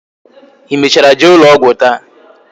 Ị mechara jee ụlọ ọgwụ taa?